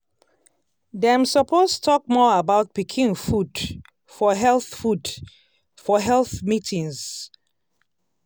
dem suppose talk more about pikin food for health food for health meetings.